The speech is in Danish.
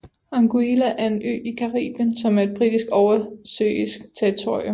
Anguilla er en ø i Caribien som er et britisk oversøisk territorium